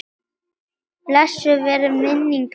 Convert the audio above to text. Blessuð veri minning beggja.